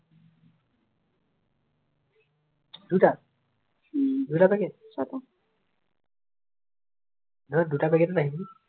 উম চা আকৌ